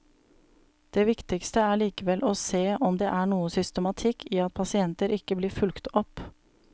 Det viktigste er likevel å se om det er noe systematikk i at pasienter ikke blir fulgt opp.